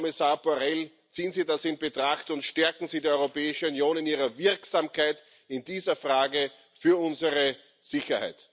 Herr Außenkommissar Borrell, ziehen Sie das in Betracht und stärken Sie die Europäische Union in ihrer Wirksamkeit in dieser Frage für unsere Sicherheit!